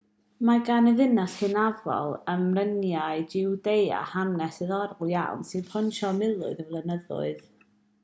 mae gan y ddinas hynafol ym mryniau jiwdea hanes diddorol iawn sy'n pontio miloedd o flynyddoedd